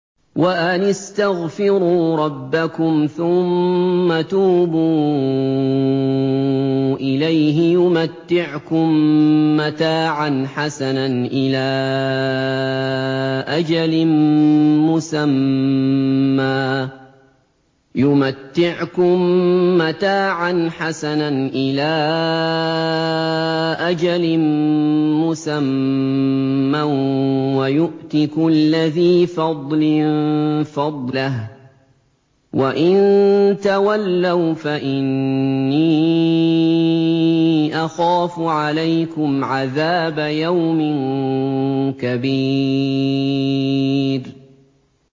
وَأَنِ اسْتَغْفِرُوا رَبَّكُمْ ثُمَّ تُوبُوا إِلَيْهِ يُمَتِّعْكُم مَّتَاعًا حَسَنًا إِلَىٰ أَجَلٍ مُّسَمًّى وَيُؤْتِ كُلَّ ذِي فَضْلٍ فَضْلَهُ ۖ وَإِن تَوَلَّوْا فَإِنِّي أَخَافُ عَلَيْكُمْ عَذَابَ يَوْمٍ كَبِيرٍ